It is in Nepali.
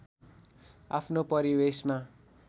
आफ्नो परिवेशमा